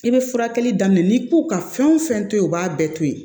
I bɛ furakɛli daminɛ n'i k'u ka fɛn o fɛn to yen u b'a bɛɛ to yen